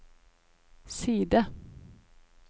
side